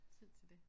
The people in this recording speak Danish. Tid til det